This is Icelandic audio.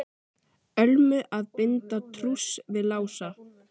Ölmu að binda trúss við Lása.